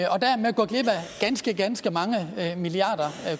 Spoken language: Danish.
ganske ganske mange milliarder